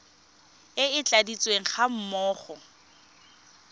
e e tladitsweng ga mmogo